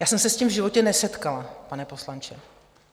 Já jsem se s tím v životě nesetkala, pane poslanče.